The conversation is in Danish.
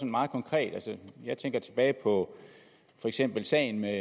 meget konkret jeg tænker tilbage på for eksempel sagen med